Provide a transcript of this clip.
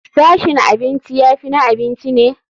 Sashin abinci ya fi na abinci ne.